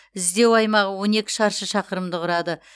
іздеу аймағы он екі шаршы шақырымды құрады